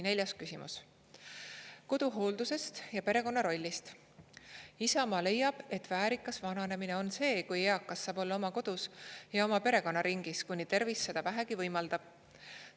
Neljas küsimus: "Koduhooldusest ja perekonna rollist – Isamaa leiab, et väärikas vananemine on see, kui eakast saab olla oma kodus ja oma perekonnaringis, kuni tervis seda vähegi võimaldab.